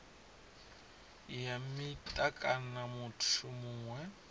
ya mita kana muthu muṅwe